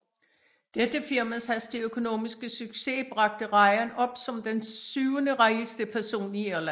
Dette firmas hastige økonomiske succes bragte Ryan op som den syvenderigeste person i Irland